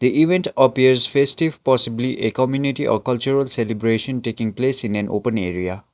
the event appears festive possibly a community or cultural celebration taking place in an open area.